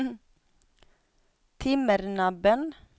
Timmernabben